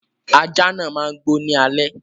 Aja náà má n gbó ní alẹ́